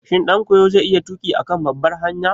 Shin ɗankoyo zai iya tuƙi a kan babbar hanya?